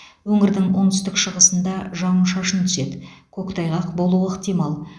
өңірдің оңтүстік шығысыңда жауын шашын түседі көктайғақ болуы ықтимал